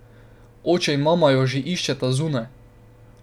Oče in mama jo že iščeta zunaj.